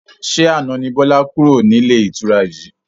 Ṣé àna ni Bọlá kúrò nílé ìtura yìí?